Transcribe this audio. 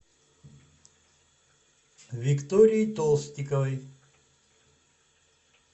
виктории толстиковой